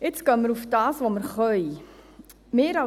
Jetzt gehen wir auf das, was wir können.